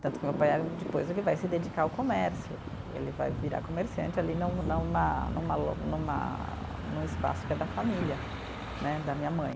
Tanto que meu pai eh depois ele vai se dedicar ao comércio, ele vai virar comerciante ali num numa numa lo numa num espaço que é da família né, da minha mãe.